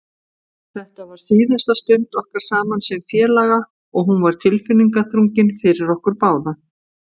Þetta var síðasta stund okkar saman sem félaga og hún var tilfinningaþrungin fyrir okkur báða.